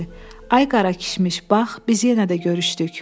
Ay Qarakişmiş, bax, biz yenə də görüşdük.